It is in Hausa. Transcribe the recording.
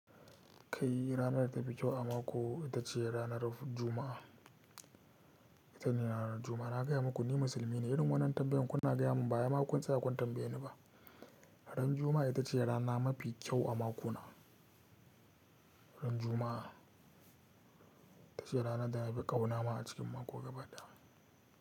Kai! Rana da tafi kyau a mako itace ranar juma'ah. Ita ce ranar Juma'a. Na gaya muku ni musulmi ne, irin wannan tambayoyin kuna gaya mun baya makun tsaya kuna tambaye ni ba. Ran Juma'a ita ce rana mafi kyau a makona. Ran Juma'a ita ce rana da na fi ƙauna ma a cikin mako gaba ɗaya.